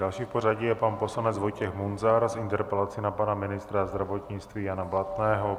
Další v pořadí je pan poslanec Vojtěch Munzar s interpelací na pana ministra zdravotnictví Jana Blatného.